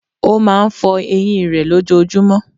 Ó máa n fo eyín rè lójojúmó